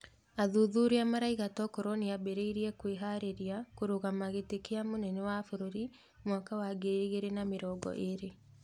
Athuthuria maroiga tokorwo nĩambĩrĩirie kwĩharĩrĩria kũrũgama gĩtĩ kĩa mũnene wa bũrũri mwaka ea ngiri igĩrĩ na mĩrongo ĩrĩ.